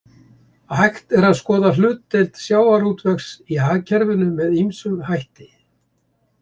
Hægt er að skoða hlutdeild sjávarútvegs í hagkerfinu með ýmsum hætti.